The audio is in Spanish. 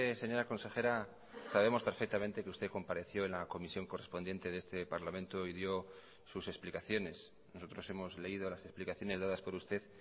señora consejera sabemos perfectamente que usted compareció en la comisión correspondiente de este parlamento y dio sus explicaciones nosotros hemos leído las explicaciones dadas por usted